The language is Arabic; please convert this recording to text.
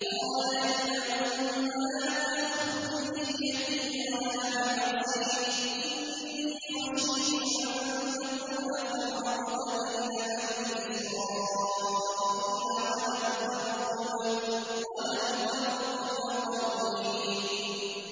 قَالَ يَا ابْنَ أُمَّ لَا تَأْخُذْ بِلِحْيَتِي وَلَا بِرَأْسِي ۖ إِنِّي خَشِيتُ أَن تَقُولَ فَرَّقْتَ بَيْنَ بَنِي إِسْرَائِيلَ وَلَمْ تَرْقُبْ قَوْلِي